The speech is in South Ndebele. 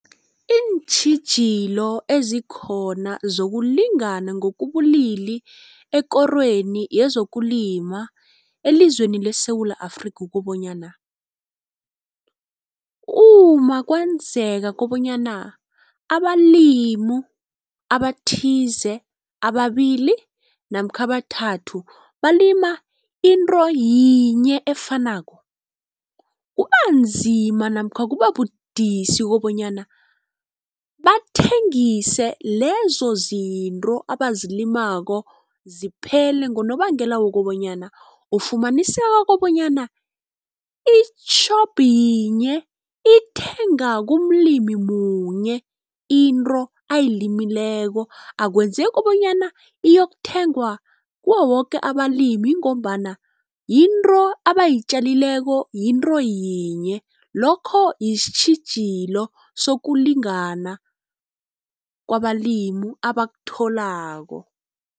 Iintjhijilo ezikhona zokulingana ngokobulili ekorweni yezokulima elizweni leSewula Afrika kukobanyana, uma kwenzeka kobanyana abalimu abathize ababili namkha abathathu balima into yinye efanako. Kubanzima namkha kubabudisi kobanyana bathengise lezo zinto abazilimako ziphele, ngonobangela wokobanyana ufumaniseka kobanyana itjhopu yinye ithenga kumlimi munye into ayilimileko. Akwenzeki bonyana iyokuthengwa kuwo woke abalimi ngombana yinto abayitjalileko yinto yinye. Lokho sitjhijilo sokulingana kwabalimi abakutholako.